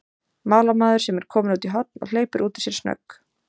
málamaður sem er kominn út í horn, og hleypir út úr sér snögg